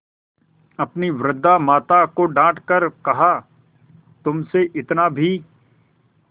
अपनी वृद्धा माता को डॉँट कर कहातुमसे इतना भी